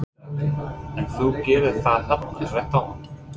Gunnar Atli: En þú gerðir það hérna rétt áðan?